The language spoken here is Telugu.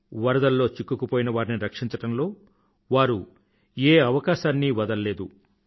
వరదల్లో చిక్కుకుపోయినవారిని రక్షించడంలో వారు ఏ అవకాశాన్నీ వదలలేదు